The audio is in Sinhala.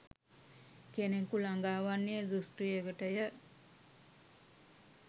කෙනෙකු ලඟා වන්නේ දෘෂ්ටියකටය.